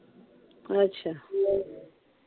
ਅੱਛਾ।